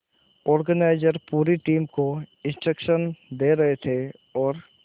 organiser पूरी team को instruction दे रहे थे और